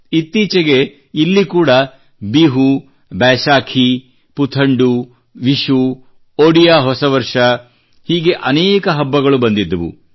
ಇತ್ತೀಚೆಗೆ ಇಲ್ಲಿ ಕೂಡಾ ಬಿಹು ಬೈಸಾಖೀ ಪುಥಂಡೂ ವಿಶೂ ಒಡಿಯಾ ಹೊಸ ವರ್ಷ ಹೀಗೆ ಅನೇಕ ಹಬ್ಬಗಳು ಬಂದಿದ್ದವು